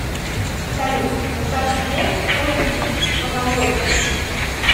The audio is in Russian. салют в состав чего входит фонология